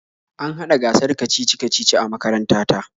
An hada gasar kacici-kacici a makaranta ta.